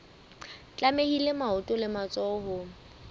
tlamehile maoto le matsoho ho